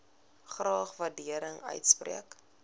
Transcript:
graag waardering uitspreek